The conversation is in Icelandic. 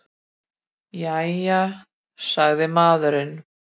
Jæja, sagði maðurinn.